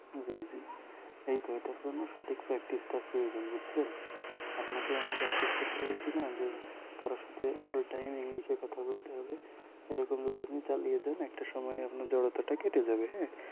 জি জি এত এটার জন্য সঠিক practice টা প্রয়োজন বুঝছেন আপনাকে আমি practice করতে বলছি না যে কারো সাথে all time english এ কথা বলতে হবে এরকম যদি আপনি চালিয়ে যান একটা সময় আপনার জড়তাটা কেটে যাবে হ্যাঁ